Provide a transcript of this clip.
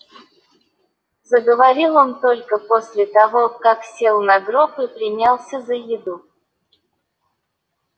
заговорил он только после того как сел на гроб и принялся за еду